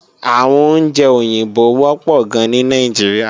Àwọn oúnjẹ òyìnbó wọ́pọ̀ gan ní Nàìjíríà